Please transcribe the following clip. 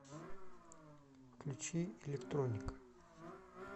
включи электроника